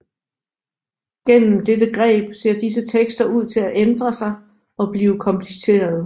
Gennem dette greb ser disse tekster ser ud til at ændre sig og blive komplicerede